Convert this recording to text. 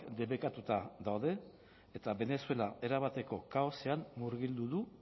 debekatuta daude eta venezuela erabateko kaosean murgildu du